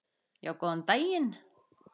Já, góðan daginn.